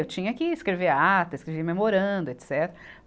Eu tinha que escrever ata, escrever memoranda, etecetera